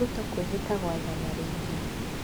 Ruto kwĩhĩta gwathana rĩngĩ